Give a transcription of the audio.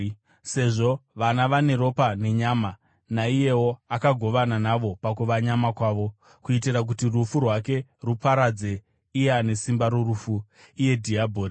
Sezvo vana vane ropa nenyama, naiyewo akagovana navo pakuva nyama kwavo, kuitira kuti rufu rwake ruparadze iye ane simba rorufu, iye dhiabhori